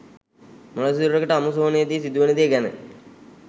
මළසිරුරකට අමු සොහොනේදි සිදුවෙන දේ ගැන